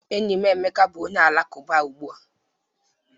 Enyi m Emeka bụ onye Alakụba ugbua